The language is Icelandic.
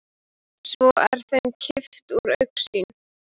Svo er þeim kippt úr augsýn.